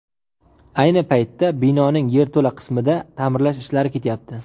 Ayni paytda binoning yerto‘la qismida ta’mirlash ishlari ketyapti.